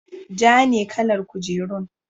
Ja ne kalar kujerun.